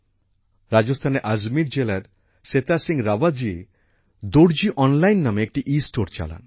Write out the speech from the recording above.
রাজস্থানের আজমির জেলার সেথা সিংহ রাবত জি দর্জি অনলাইন নামে একটি ইস্টোর চালান